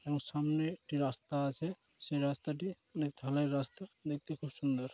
এবং সামনে একটি রাস্তা আছে সেই রাস্তা টি অনেক ঢালাই রাস্তা দেখতে খুব সুন্দর।